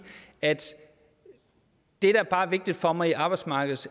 at det der bare er vigtigt for mig